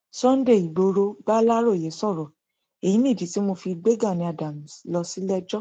sunday igboro baláròyé sọrọ èyí nìdí tí mo fi gbé gani adams lọ síléẹjọ